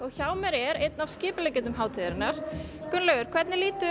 hjá mér er einn af skipuleggjendum hátíðarinnar Gunnlaugur hvernig lítur